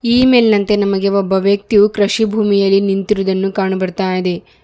ಈ ಮೇಲಿನಂತೆ ನಮಗೆ ಒಬ್ಬ ವ್ಯಕ್ತಿಯು ಕೃಷಿ ಭೂಮಿಯಲ್ಲಿ ನಿಂತಿರುವುದನ್ನು ಕಾಣು ಬರ್ತಾ ಇದೆ.